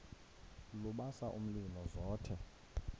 lubasa umlilo zothe